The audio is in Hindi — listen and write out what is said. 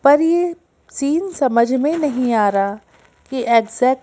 पर यह सीन समझ में नहीं आ रहा कि एग्जैक्ट --